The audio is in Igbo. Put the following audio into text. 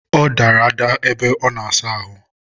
ọ dara ada ebe ọ na-asa ahụ.